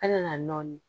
An nana nɔɔni